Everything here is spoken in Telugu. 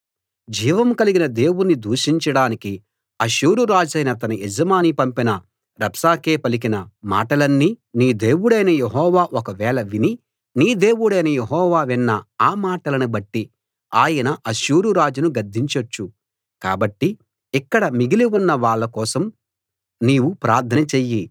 జీవం కలిగిన దేవుణ్ణి దూషించడానికి అష్షూరు రాజైన తన యజమాని పంపిన రబ్షాకే పలికిన మాటలన్నీ నీ దేవుడైన యెహోవా ఒకవేళ విని నీ దేవుడైన యెహోవా విన్న ఆ మాటలను బట్టి ఆయన అష్షూరురాజును గద్దించొచ్చు కాబట్టి ఇక్కడ మిగిలి ఉన్న వాళ్ళ కోసం నీవు ప్రార్థన చెయ్యి